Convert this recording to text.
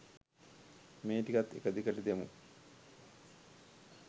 මේ ටිකත් එක දිගට දෙමු